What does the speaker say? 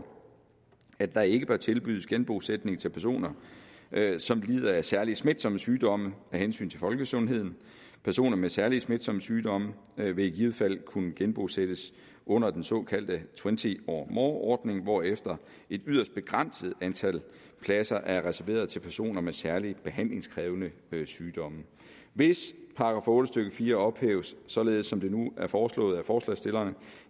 at der ikke bør tilbydes genbosætning til personer som lider af særlig smitsomme sygdomme af hensyn til folkesundheden personer med særlig smitsomme sygdomme vil i givet fald kunne genbosættes under den såkaldte twenty or more ordning hvorefter et yderst begrænset antal pladser er reserveret til personer med særlig behandlingskrævende sygdomme hvis § otte stykke fire ophæves således som det nu er foreslået af forslagsstillerne